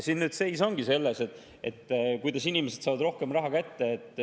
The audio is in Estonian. Siin seis ongi selles, kuidas inimesed saaksid rohkem raha kätte.